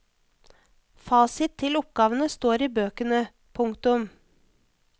Fasit til oppgavene står i bøkene. punktum